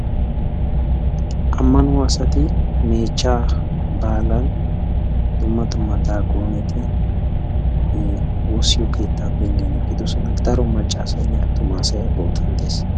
ammano asati meechcha baalan dumma duma daaqoneti woossiyoo keetta penggen eqqidoosona, daro maccasaynne attumassay ha bootan des.